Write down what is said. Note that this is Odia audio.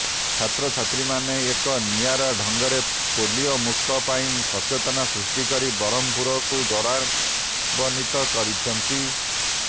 ଛାତ୍ରଛାତ୍ରୀମାନେ ଏକ ନିଆରା ଢଙ୍ଗରେ ପୋଲିଓ ମୁକ୍ତ ପାଇଁ ସଚେତନତା ସୃଷ୍ଟି କରି ବ୍ରହ୍ମପୁରକୁ ଗୌରବାନ୍ବିତ କରିଛନ୍ତି